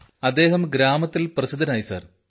അദ്ദേഹം ഗ്രാമത്തിൽ പ്രസിദ്ധനായി സാർ